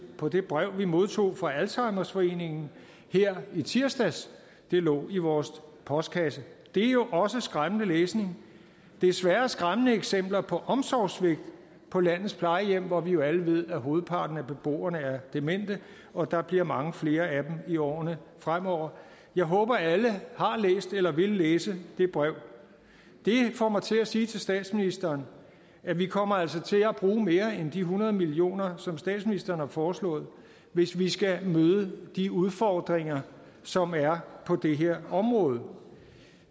på det brev vi modtog fra alzheimerforeningen her i tirsdags det lå i vores postkasse det er jo også skræmmende læsning desværre med skræmmende eksempler på omsorgssvigt på landets plejehjem hvor vi jo alle ved at hovedparten af beboerne er demente og at der bliver mange flere af dem i årene fremover jeg håber at alle har læst eller vil læse det brev det får mig til at sige til statsministeren at vi kommer altså til at bruge mere end de hundrede millioner som statsministeren har foreslået hvis vi skal møde de udfordringer som er på det her område